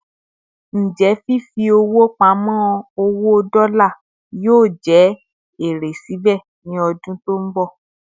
Ǹjẹ́ fífi pamo owó dola yóò jẹ èrè síbè ni odun tó nbọ